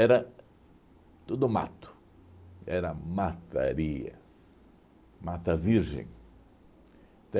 Era tudo mato, era mataria, mata virgem.